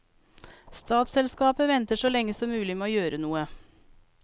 Statsselskapet venter så lenge som mulig med å gjøre noe.